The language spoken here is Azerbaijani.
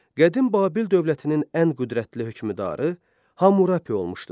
Qədim Babil dövlətinin ən qüdrətli hökmdarı Hammurapi olmuşdur.